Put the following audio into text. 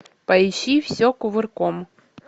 поищи все кувырком